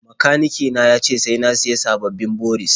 Makanike na ya ce sai na sayi sababbin boris.